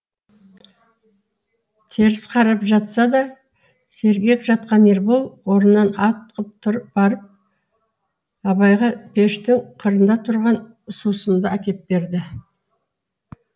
теріс қарап жатса да сергек жатқан ербол орнынан атқып барып абайға пештің қырында тұрған сусынды әкеп берді